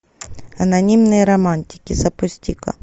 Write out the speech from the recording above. анонимные романтики запусти ка